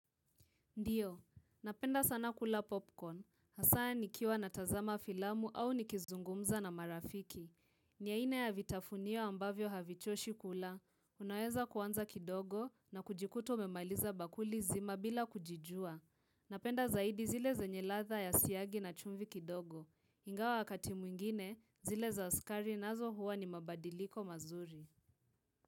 Ndiyo, napenda sana kula popcorn, hasa nikiwa na tazama filamu au ni kizungumza na marafiki. Ni ya aina ya vitafunio ambavyo havichoshi kula, unaweza kuanza kidogo na kujikuta umemaliza bakuli zima bila kujijua. Napenda zaidi zile zenye ladha ya siagi na chumbi kidogo. Ingawa wakati mwingine, zile za sukari nazo huwa ni mabadiliko mazuri.